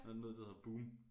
Der er noget der hedder boom